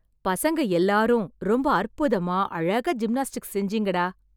பசங்க எல்லாரும் ரொம்ப அற்புதமா, அழகா ஜிம்னாஸ்டிக்ஸ் செஞ்சீங்கடா...